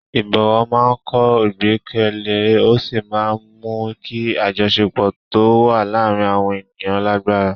Ìbọ̀wọ̀ máa ń kọ́ ìgbẹ́kẹ̀lé ó sì máa ń mú kí àjọṣepọ̀ tó wà láàárín àwọn ènìyàn lágbára.